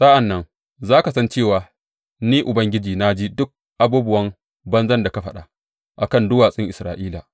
Sa’an nan za ka san cewa Ni Ubangiji na ji duk abubuwan banzan da ka faɗa a kan duwatsun Isra’ila.